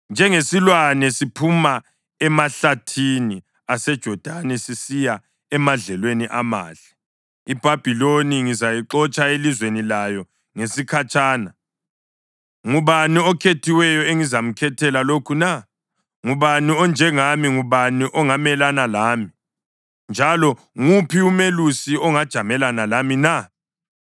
Njengesilwane siphuma emahlathini aseJodani sisiya emadlelweni amahle, iBhabhiloni ngizayixotsha elizweni layo ngesikhatshana. Ngubani okhethiweyo engizamkhethela lokhu na? Ngubani onjengami, ngubani ongamelana lami? Njalo nguphi umelusi ongajamelana lami na?”